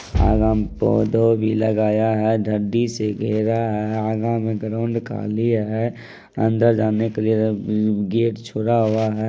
अगा में पौधा भी लगाया है धडी से घेरा है अगा में ग्राउंड खाली है अंदर जाने के लिए उम गेट छोड़ा हुआ है।